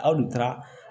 Aw dun taara